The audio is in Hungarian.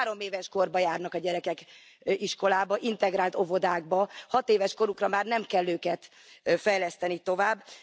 Nálunk három éves kortól járnak a gyerekek iskolába, integrált óvodákba, hatéves korukra már nem kell őket fejleszteni tovább.